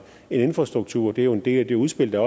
infrastruktur det er jo en del af det udspil der